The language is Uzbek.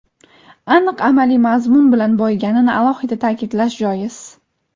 aniq amaliy mazmun bilan boyiganini alohida ta’kidlash joiz.